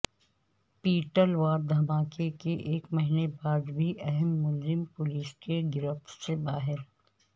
petal واد دھماکہ کے ایک مہینے بعد بھی اہم ملزم پولیس کی گرفت سے باہر